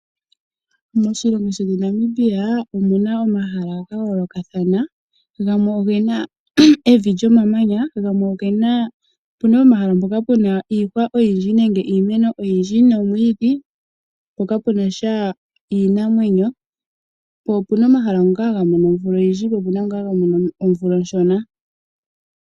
Moshilongo shino Namibia omuna omahala ga yoolokathana, gamwe ogena evi lyomamanya, opuna omahala ngoka puna iihwa oyindji nenge iimeno oyindji nomwiidhi po kapunasha iinamwenyo po opuna omahala ngoka haga mono omeya ogendji po opena ngo haga mono omvula oshona.